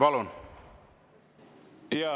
Palun!